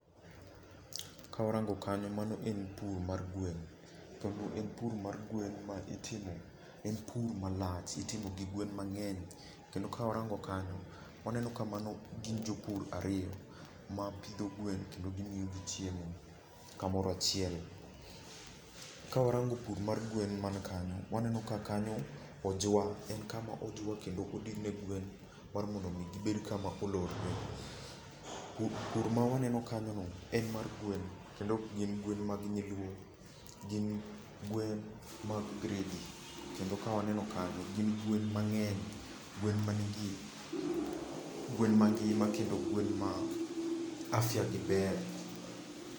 Kawarango kanyo, mano en pur mar gwen. Kendo en pur mar gwen ma itimo, en pur malach. Itimo gi gwen mang'eny. Kendo kawarango kanyo, waneno ka mano gin jopur ariyo, mapidho gwen kendo gimiyo gi chiemo kamoro achiel. Kawarango pur mar gwen man kanyo, waneno ka kanyo ojwa. En kama ojwa kendo odin ne gwen mar mondo mi gibed kama olorore. Pur ma waneno kanyo no en mar gweno kendo okgin gwen mag nyiluo. Gin gwen ma gredi. Kendo kawaneno kanyo, gin gwen mang'eny. Gwen ma nigi, gwen mangima kendo gwen ma afya gi ber.